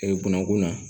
gɔnɔkun na